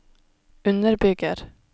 underbygger